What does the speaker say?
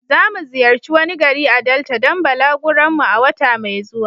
Zamu ziyarci wani gari a Delta don balaguron mu a wata mai zuwa.